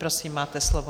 Prosím, máte slovo.